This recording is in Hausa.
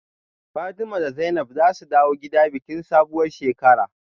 Fatima da Zainab zasu dawo gida bikin sabuwar shekara